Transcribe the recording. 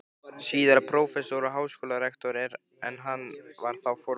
síðar prófessor og háskólarektor, en hann var þá formaður